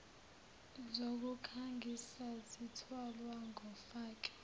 zokukhangisa zithwalwa ngofake